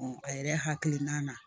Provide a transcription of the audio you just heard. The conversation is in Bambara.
a yɛrɛ hakilina na